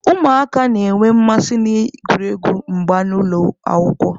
Ụmụaka na-enwe mmasị n'egwuregwu mgba n'ụlọ akwụkwọ.